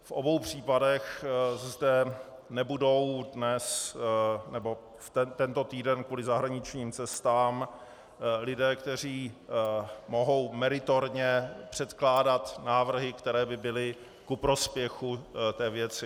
V obou případech zde nebudou dnes nebo tento týden kvůli zahraničním cestám lidé, kteří mohou meritorně předkládat návrhy, které by byly ku prospěchu té věci.